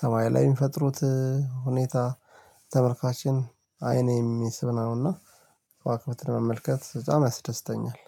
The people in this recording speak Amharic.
ሰማይ ላይ የሚፈጥሩት ሁኔታ ተመልካችን አይን የሚስብ ነውና፣ ከዋክብትን መመልከት በጣም ያስደስተኛል